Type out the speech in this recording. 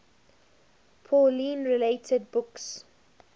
pauline related books